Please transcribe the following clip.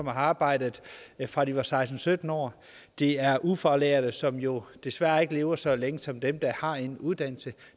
har arbejdet fra de var seksten til sytten år det er ufaglærte som jo desværre ikke lever så længe som dem der har en uddannelse